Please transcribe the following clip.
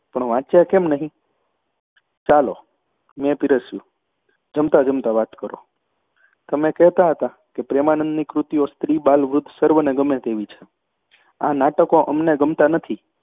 પણ વાંચ્યાં કેમ નહીં ચાલો મેં પીરસ્યું. ‘જમતાં જમતાં વાત કરો. તમે કહેતા હતા કે પ્રેમાનંદની કૃતિઓ સ્ત્રીબાલવૃદ્ધ સર્વને ગમે તેવી છે. આ નાટકો અમને ગમતાં નથી